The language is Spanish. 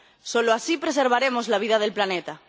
Solo así preservaremos la vida del planeta.